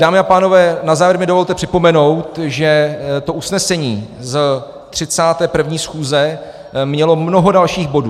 Dámy a pánové, na závěr mi dovolte připomenout, že to usnesení z 31. schůze mělo mnoho dalších bodů.